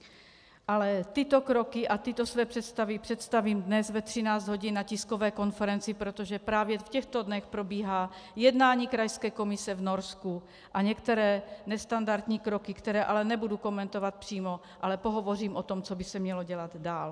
Ale tyto kroky a tyto své představy představím dnes ve 13 hodin na tiskové konferenci, protože právě v těchto dnech probíhá jednání krajské komise v Norsku a některé nestandardní kroky, které ale nebudu komentovat přímo, ale pohovořím o tom, co by se mělo dělat dál.